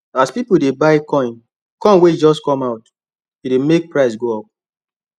as people dey buy coin coin wey just come out e dey make price move up